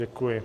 Děkuji.